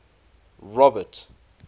robert